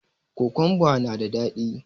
Kokumban na da daɗi.